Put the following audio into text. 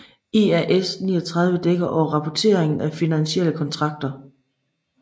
IAS 39 dækker over rapporteringen af finansielle kontrakter